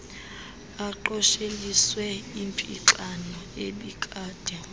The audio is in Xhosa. aqosheliswe impixano ebikade